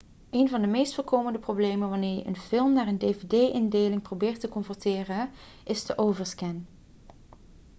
een van de meest voorkomende problemen wanneer je een film naar een dvd-indeling probeert te converteren is de overscan